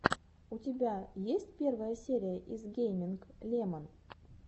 у тебя есть первая серия зе гейминг лемон